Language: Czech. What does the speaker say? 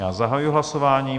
Já zahajuji hlasování.